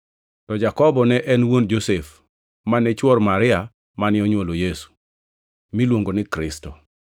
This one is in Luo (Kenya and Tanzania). to Jakobo ne en wuon Josef mane chwor Maria mane onywolo Yesu, miluongo ni Kristo.